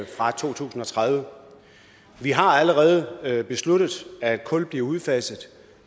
fra to tusind og tredive vi har allerede besluttet at kul bliver udfaset